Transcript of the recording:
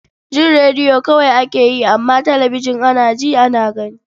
Jin rediyo kawai ake yi, amma talabijin, ana ji, ana gani.